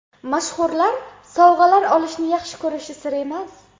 Mashhurlar sovg‘alar olishni yaxshi ko‘rishi sir emas.